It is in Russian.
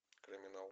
криминал